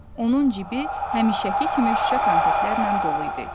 Onun cibi həmişəki kimi şüşə konfetlərlə dolu idi.